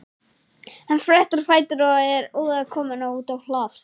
Hann sprettur á fætur og er óðar kominn út á hlað.